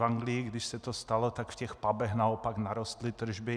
V Anglii, když se to stalo, tak v těch pubech naopak narostly tržby.